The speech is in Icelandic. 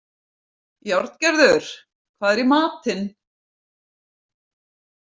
Járngerður, hvað er í matinn?